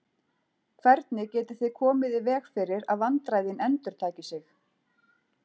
Hvernig getið þið komið í veg fyrir að vandræðin endurtaki sig?